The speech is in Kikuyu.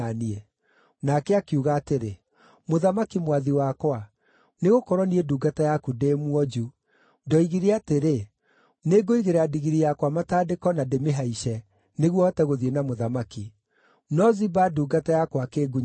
Nake akiuga atĩrĩ, “Mũthamaki mwathi wakwa, nĩgũkorwo niĩ ndungata yaku ndĩ mwonju, ‘Ndoigire atĩrĩ, nĩngũigĩrĩra ndigiri yakwa matandĩko na ndĩmĩhaice, nĩguo hote gũthiĩ na mũthamaki’. No Ziba ndungata yakwa akĩngunyanĩra.